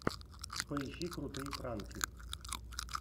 поищи крутые пранки